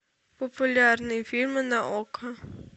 популярные фильмы на окко